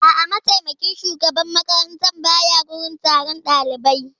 A'a, mataimakin shugaban makaranta ba ya wurin taron ɗalibai